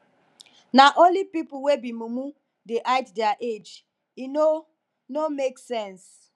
na only pipu wey be mumu dey hide their age e no no make sense